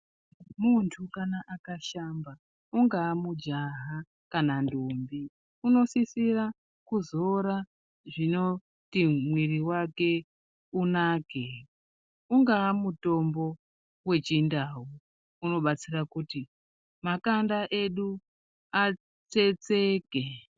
Muntu akashamba ingaa mujaha kana ndombi unosisira kuzora zvinoti mwiri wake unake ingaa mutombo wechindau inobatsira kuti makanda edu atsetseke.